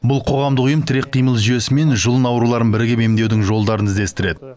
бұл қоғамдық ұйым тірек қимыл жүйесі мен жұлын ауруларын бірігіп емдеудің жолдарын іздестіреді